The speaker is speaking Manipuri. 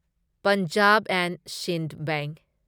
Punjab and Sind bank